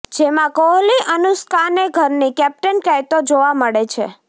જેમાં કોહલી અનુષ્કાને ઘરની કેપ્ટન કહેતો જોવા મળે છે